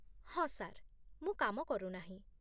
ହଁ, ସାର୍ ମୁଁ କାମ କରୁନାହିଁ